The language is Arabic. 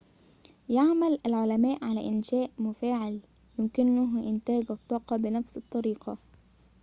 يعمل العلماء على إنشاءِ مفاعلٍ يمكنه إنتاج الطاقة بنفس الطريقة